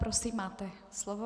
Prosím, máte slovo.